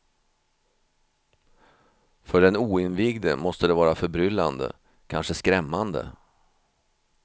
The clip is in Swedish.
För den oinvigde måste det vara förbryllande, kanske skrämmande.